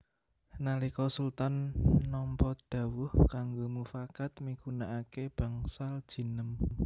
Nalika Sultan nampa dhawuh kanggo mufakat migunakaké Bangsal Jinem